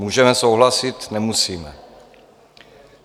Můžeme souhlasit, nemusíme.